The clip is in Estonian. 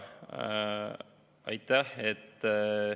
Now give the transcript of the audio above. Aitäh!